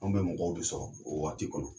Anw be mɔgɔw de sɔrɔ o waati kɔnɔ